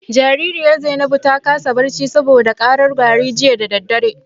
Jaririyar Zainabu ta kasa barci saboda karar gyare jiya da dare.